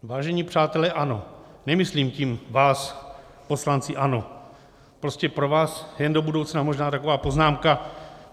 Vážení přátelé ANO, nemyslím tím vás, poslanci ANO, prostě pro vás jen do budoucna možná taková poznámka.